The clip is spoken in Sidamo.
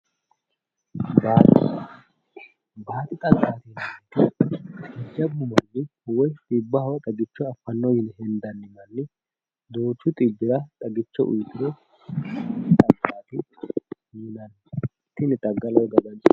Baadi xagga, baadi xagga jajjabbu manni xibbaho xagicho affanno yine hendanni. Duuchu xibbira xagicho uuyiituro baadi xaggaati yinanni. Baadi xagga yinanni